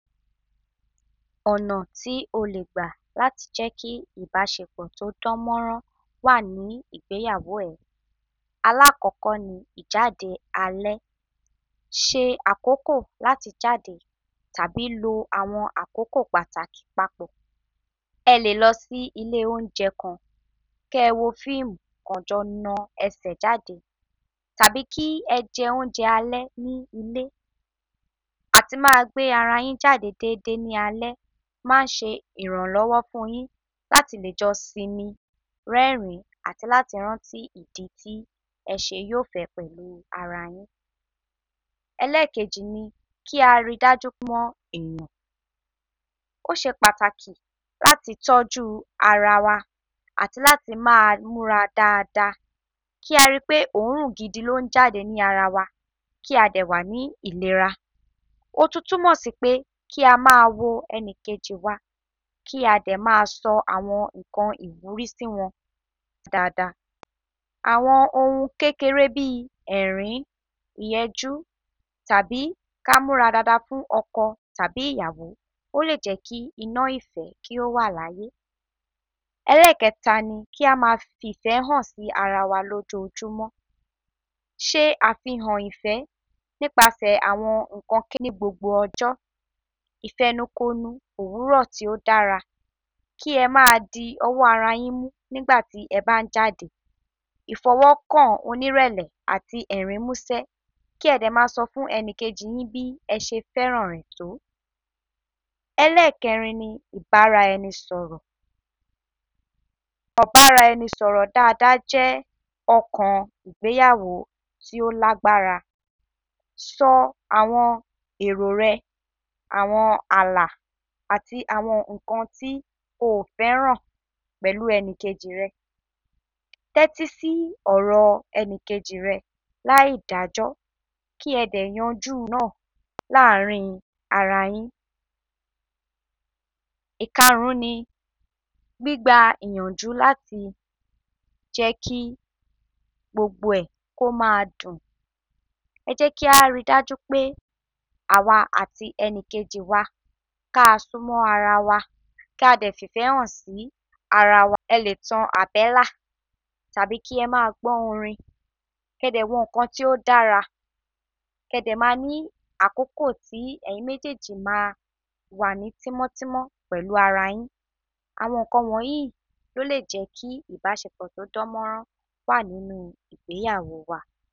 Ọ̀nà ti oleegba latijẹki ìbásepọ̀ to danmọran wàní ìgbéyàwó ẹ. Alakọkọ ni: Ìjáde alẹ́, se akoko lati jáde, tàbí lo àwọn àkókò Pàtàkì pápọ̀, elélọsì ilé ọnjẹ kan, kẹẹwo fiimun kẹẹjo na ẹsẹ́ jáde, tàbí ki ẹ jẹ onje alẹ́ ni ilé, àti maa gbe arayin jáde deede ni alẹ́ manse ìrànlọ́wọ́ funyin latilejọ sinmin rẹrin ati lati rántí ìdí ti ẹse yofẹ pẹ̀lú ara yin Ẹlẹẹkeji ni: Ki ari daju pe òsepátákí lati tọ̀jù ara wa, ati lati maa mura daadaa, ki aripe oorun gidi ni onjade ni ara wa, ki adewa ni ilera. Otun tùmọ́sìpe ki ama wo ẹníkejí wa, ki adẹma sọ àwọn nkan iwuri sìwọn daada, àwọn oun kekere bii ẹ̀rín, ìyẹjú, tàbí ki a múra daada fun ọkọ tabi ìyàwó olejẹki ina ìfẹ́ ki owa laye. Ẹlẹẹkẹta ni: Ki amaa fìfẹ́ hansi arawa lojojumọ, se àfíhàn ìfẹ́ nípasẹ̀ àwọn nkan ni gbogbo ọjọ́, ifẹnun konu òwúrọ̀ tio dara, ki ẹmadi ọwọ́ arayinmu nígbàtí eba n jade, ìfọwọkan onirẹlẹ, ati ẹrin musẹ, ki ẹdẹma sọfun ẹnikeji yin bi ẹse fẹran rẹ to. Ẹlẹẹkẹrin ni: Ibaraẹni sọ̀rọ̀, ibara enisọ̀rọ̀ daadaa jẹ ọkàn ìgbéyàwó ti o lagbara, sọ àwọn èrò rẹ, àwọn àlà, ati àwọn nkan ti oofẹran pẹ̀lú ẹnìkejì rẹ, tẹ́tísí ọ̀rọ̀ ẹnìkejì rẹ laidajọ ki ẹdẹ yanju ọ̀rọ̀ naa laarin arayin. Ikarun ni: Gbígba ìyànjù lati jẹ́kí gbogbo ẹ komaa dun, ẹjẹki aridaju pe awa ati ẹnikeji wa kaa sunmọ ara wa ki adẹ fìfẹ́ han si ara wa, ẹletan àbẹ́là, tàbí ki ẹma gbọ orin, ki ẹdẹ wo nkan ti o dára, ki ẹdẹma ni àkókò ti ẹyin mejeeji maawa ni timọtimọ pẹ̀lu arayin, awọnkan wọnyi lolejẹki ìbásepọ̀ todanmọrọn wani ìgbéyàwó wa.